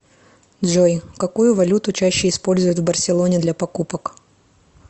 джой какую валюту чаще используют в барселоне для покупок